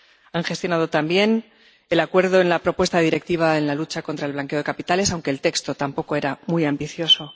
Ha gestionado también el acuerdo en la propuesta de Directiva sobre la lucha contra el blanqueo de capitales, aunque el texto tampoco era muy ambicioso.